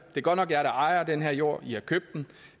er godt nok jer der ejer den her jord i har købt den